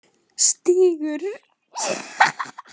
Stígur